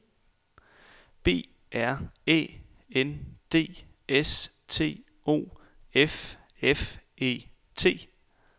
B R Æ N D S T O F F E T